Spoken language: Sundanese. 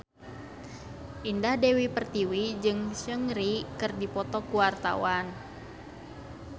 Indah Dewi Pertiwi jeung Seungri keur dipoto ku wartawan